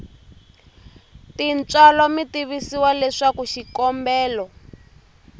tintswalo mi tivisiwa leswaku xikombelo